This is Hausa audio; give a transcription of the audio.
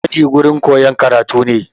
Aji gurin koyan karatu ne